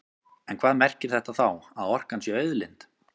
En hvað merkir þetta þá, að orkan sé auðlind?